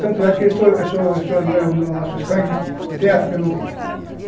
Tanto é que eu sou eu sou. Em nosso sangue tem a África no meio.